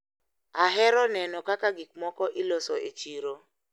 Ahero neno kaka gikmoko iloso e chiro.